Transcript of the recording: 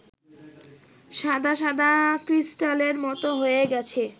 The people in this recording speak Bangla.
সাদাসাদা ক্রিস্টালের মতো হয়ে গেছে